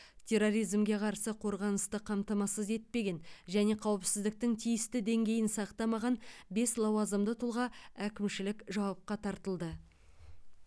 терроризмге қарсы қорғанысты қамтамасыз етпеген және қауіпсіздіктің тиісті деңгейін сақтамаған бес лауазымды тұлға әкімшілік жауапқа тартылды